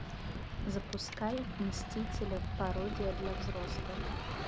запускай мстители пародия для взрослых